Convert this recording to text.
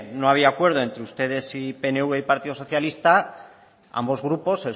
no había acuerdo entre ustedes y pnv y partido socialista ambos grupos